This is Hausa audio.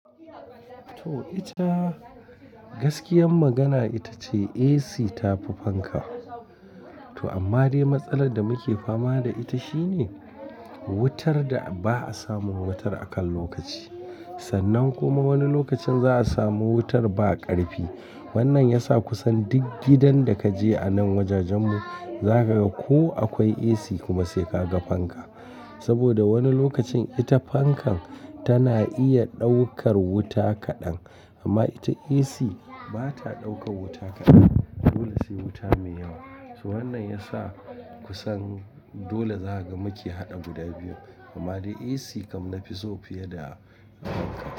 To ita gaskiyan magana ita ce AC ta fi fanka. To amma dai matsalar da muke fama da ita shine wutar da ba'a samun wutar a kan lokaci. Sannan kuma wani lokacin za'a samu wutar ba ƙarfi. Wannan ya sa kusan duk gidan da ka je a nan wajajen mu, za ka ga ko akwai AC kuma sai ka ga fanka. Saboda wani lokacin ita fankan tana iya ɗaukar wuta kaɗan, amma ita AC ba ta ɗaukar wuta kaɗan. Dole sai wuta mai yawa. To wannan ya sa kusan dole za ka ga muke haɗa guda biyu. Amma dai AC kam na fi so fiye da fanka.